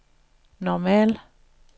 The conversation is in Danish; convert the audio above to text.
normal